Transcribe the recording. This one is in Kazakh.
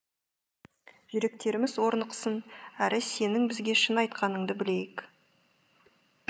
жүректеріміз орнықсын әрі сенің бізге шын айтқаныңды білейік